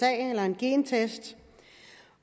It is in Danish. eller en gentest